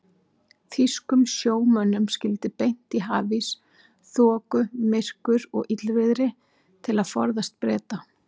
Þýskum sjómönnum skyldi beint í hafís, þoku, myrkur og illviðri til að forðast Breta.